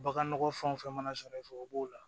Baganɔgɔ fɛn wo fɛn mana sɔrɔ i fɛ o b'o la